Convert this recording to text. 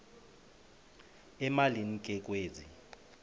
emalini ke kwezi